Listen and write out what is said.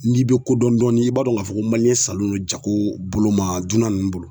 N'i bɛ kodɔn i b'a dɔn k'a fɔ ko salen don jago bolo ma dunan ninnu bolo.